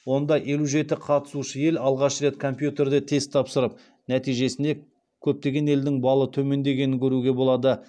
онда елу жеті қатысушы ел алғаш рет компьютерде тест тапсырып нәтижесінде көптеген елдің балы төмендегенін көруге болады